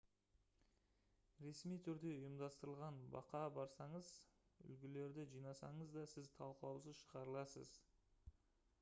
ресми түрде ұйымдастырылған баққа барсаңыз «үлгілерді» жинасаңыз да сіз талқылаусыз шығарыласыз